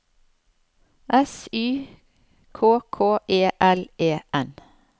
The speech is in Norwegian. S Y K K E L E N